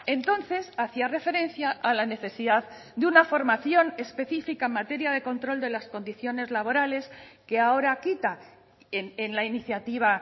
entonces hacía referencia a la necesidad de una formación específica en materia de control de las condiciones laborales que ahora quita en la iniciativa